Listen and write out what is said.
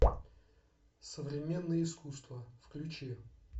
современное искусство включи